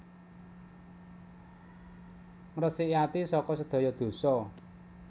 Ngresiki ati saka sedaya dosa